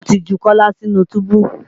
Wọ́n ti ju Kọ́lá sínú túbú